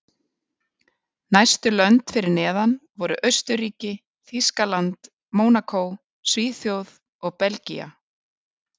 Næstu lönd fyrir neðan voru Austurríki, Þýskaland, Mónakó, Svíþjóð og Belgía.